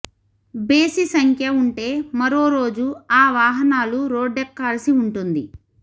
బేసి సంఖ్య ఉంటే మరో రోజు ఆ వాహనాలు రోడ్డెక్కాల్సి ఉంటుంది